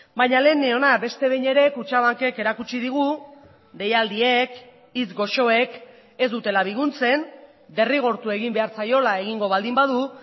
baina lehen neona beste behin ere kutxabankek erakutsi digu deialdiek hitz goxoek ez dutela biguntzen derrigortu egin behar zaiola egingo baldin badu